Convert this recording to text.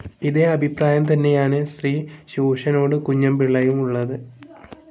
ഇതേ അഭിപ്രായം തന്നെയാണ് ശ്രീ ശൂരനാട് കുഞ്ഞന്പിള്ളയ്ക്കും ഉള്ളത്.